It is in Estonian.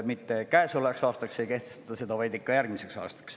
Mitte käesolevaks aastaks ei kehtestata seda, vaid ikka järgmiseks aastaks.